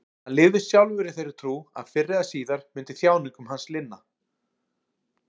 Hann lifði sjálfur í þeirri trú að fyrr eða síðar myndi þjáningum hans linna.